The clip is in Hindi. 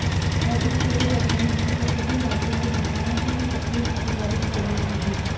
और इसके लिए प्रधानमंत्री को सभी राज्यों के नेताओं की सक्रिय भागीदारी की जरूरत होगी